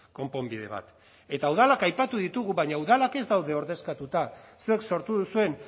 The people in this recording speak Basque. konponbide bat eta udalak aipatu ditugu baina udalak ez daude ordezkatuta zuek sortu duzuen